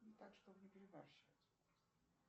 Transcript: так чтобы не перебарщивать просто